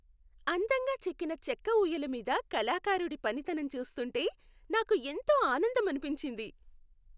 అందంగా చెక్కిన చెక్క ఊయల మీద కళాకారుడి పనితనం చూస్తుంటే నాకు ఎంతో ఆనందమనిపించింది.